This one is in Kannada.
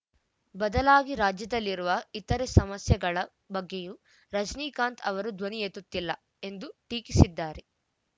ಬದಲಾಗಿ ರಾಜ್ಯದಲ್ಲಿರುವ ಇತರ ಸಮಸ್ಯೆಗಳ ಬಗ್ಗೆಯೂ ರಜನೀಕಾಂತ್‌ ಅವರು ಧ್ವನಿಯೆತ್ತುತ್ತಿಲ್ಲ ಎಂದು ಟೀಕಿಸಿದ್ದಾರೆ